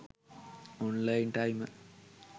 online timer